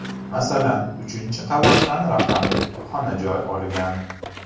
Masalan, uchinchi qavatdan raqamli kutubxona joy olgan.